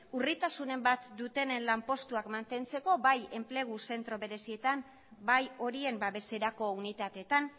urritasunen bat dutenen lanpostuak mantentzeko bai enplegu zentro berezietan bai horien babeserako unitateetan